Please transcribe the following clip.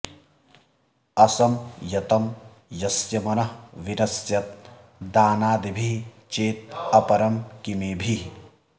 असंयतं यस्य मनः विनश्यत् दानादिभिः चेत् अपरं किमेभिः